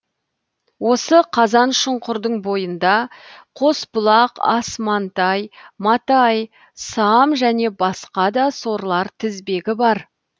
осы қазаншұңқырдың бойында қосбұлақ асмантай матай сам және басқа да сорлар тізбегі бар